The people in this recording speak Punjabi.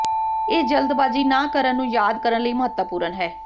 ਇਹ ਜਲਦਬਾਜ਼ੀ ਨਾ ਕਰਨ ਨੂੰ ਯਾਦ ਕਰਨ ਲਈ ਮਹੱਤਵਪੂਰਨ ਹੈ